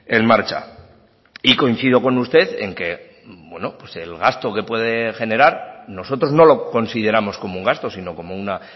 en marcha y coincido con usted en que el gasto que puede generar nosotros no lo consideramos como un gasto sino como una